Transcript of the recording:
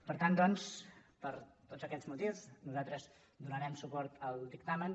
per tant doncs per tots aquests motius nosaltres donarem suport al dictamen